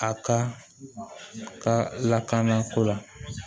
A ka lakana ko la